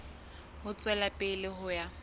ho tswela pele ho ya